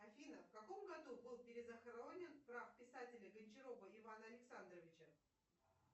афина в каком году был перезахоронен прах писателя гончарова ивана александровича